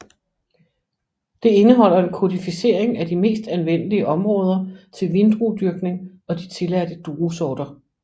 Det indeholder en kodificering af de mest anvendelige områder til vindruedyrkning og de tilladte druesorter